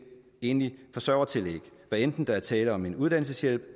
enlig forsørger tillæg hvad enten der er tale om en uddannelseshjælp